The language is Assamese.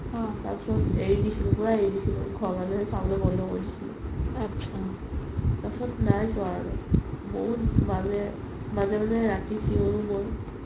তাৰ পিছত এৰি দিছিলো পুৰা এৰি দিছিলো ঘৰৰ মানুহে চাবলে পুৰা বন্ধো কৰি দিছিলে তাৰ পিছত নাই চোৱা আৰু বহুত মানে মাজে মাজে ৰাতি চিঞও মই